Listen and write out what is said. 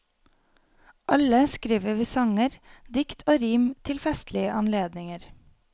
Alle skriver vi sanger, dikt og rim til festlige anledninger.